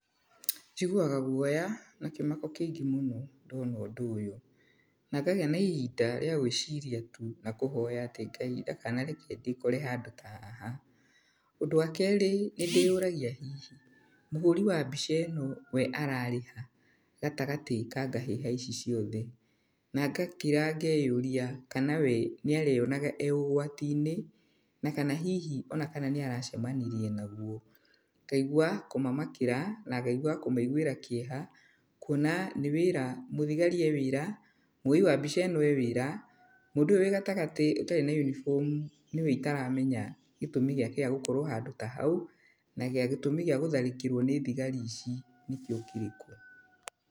Njiguaga guoya na kĩmako kĩĩngĩ mũno ndona ũndũ ũyũ, na ngagĩa na ihinda rĩa gwĩciria tu na kũhoya atĩ Ngai ndakanareke ndĩkore handũ ta haha. Ũndũ wakerĩ, nĩndĩyũragia hihi mũhũri wa mbica ĩno we ararĩ ha gatagatĩ ka ngahĩha ici ciothe? Na ngakira ngeyũria kana we nĩareyonaga e ũgwatinĩ, na kana hihi ona kana nĩaracemanirie naguo. Ngaigua kũmamakĩra na ngaigua kũmaiguĩra kĩeha, kuona nĩ wĩra mũthigari e wĩra, muoi wa mbica ĩno e wĩra, mũndũ ũyũ wĩ gatagatĩ ũtarĩ na uniform nĩwe itaramenya gĩtũmi gĩake gĩa gũkorwo handũ ta hau, na gĩtũmi gĩa gũtharĩkĩrwo nĩ thigari ici nĩkĩo kĩrĩkũ.